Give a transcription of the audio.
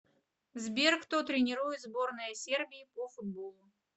сбер кто тренирует сборная сербии по футболу